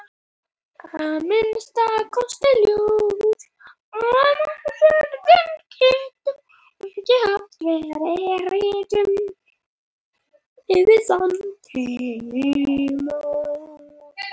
Að minnsta kosti er ljóst að Málsvörnin getur ekki hafa verið rituð fyrir þann tíma.